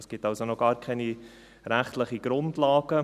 Es gibt also noch gar keine rechtlichen Grundlagen.